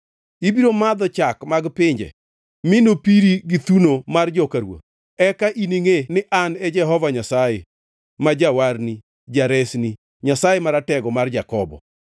Ibiro madho chak mag pinje mi nopiri gi thuno mar joka ruoth. Eka iningʼe ni An e Jehova Nyasaye, ma Jawarni, Jaresni, Nyasaye Maratego mar Jakobo.